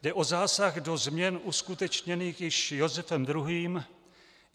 Jde o zásah do změn uskutečněných již Josefem II.